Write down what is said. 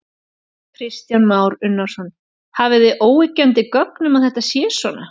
Kristján Már Unnarsson: Hafið þið óyggjandi gögn um að þetta sé svona?